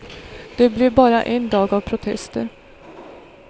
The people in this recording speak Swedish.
Det blev bara en dag av protester.